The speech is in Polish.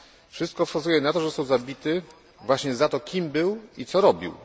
Wszystko wskazuje na to, że został zabity właśnie za to kim był i co robił.